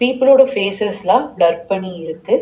பீப்பலோட ஃபேஸ்சஸ்லா ப்ளர் பண்ணி இருக்கு.